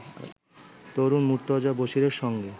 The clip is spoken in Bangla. তরুণ মুর্তজা বশীরের সঙ্গে